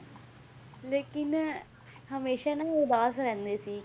ਲੇਕਿੰਨ ਹਮੇਸ਼ਾ ਨਾ ਇਹ ਉਦਾਸ ਰਹਿੰਦੇ ਸੀ